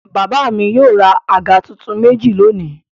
Bàbá mi yóò ra àga tuntun méjì lónìí.